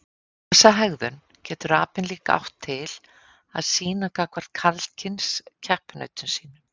Þessa hegðun getur apinn líka átt til að sýna gagnvart karlkyns keppinautum sínum.